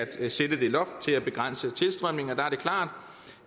til at sætte det loft og begrænse tilstrømningen og der er det klart